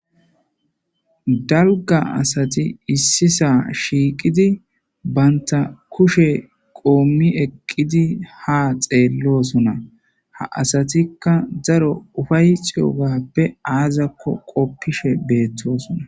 Dalgga asati issisa shiiqqidi bantta kushshe qomi eqqudi ha xeelosona ha assatika daaro uffaetiyobappe aazakko qoffishe bettossona.